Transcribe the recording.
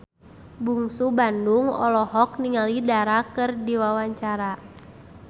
Bungsu Bandung olohok ningali Dara keur diwawancara